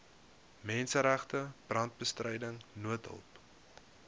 menseregte brandbestryding noodhulp